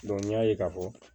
n y'a ye k'a fɔ